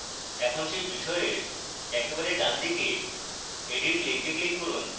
এখন সেই বিষয়ের একেবারে ডানদিকে edit link click করুন